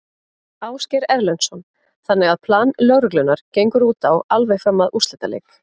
Ásgeir Erlendsson: Þannig að plan lögreglunnar gengur út á alveg fram að úrslitaleik?